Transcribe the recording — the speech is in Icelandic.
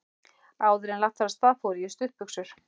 Áðuren lagt var af stað fór ég í stuttbuxur.